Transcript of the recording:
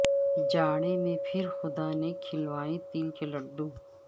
جاڑے میں پھر خدا نے کھلوائے تل کے لڈو